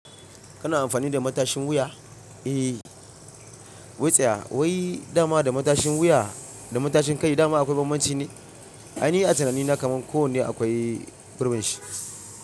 Kana amfani da matashin wuya? Eh, wai tsaya wai dama da matashin wuya da matashin kai dama akwai banbanci ne? A ni a tunanina kaman ko ne akwai gurbin shi.